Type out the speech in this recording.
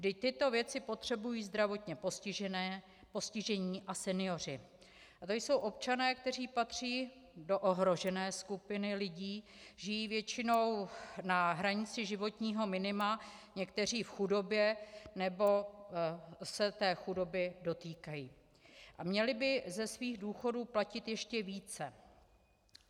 Vždyť tyto věci potřebují zdravotně postižení a senioři a to jsou občané, kteří patří do ohrožené skupiny lidí, žijí většinou na hranici životního minima, někteří v chudobě nebo se té chudoby dotýkají a měli by ze svých důchodů platit ještě více.